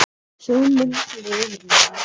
Sú mynd lifir með mér.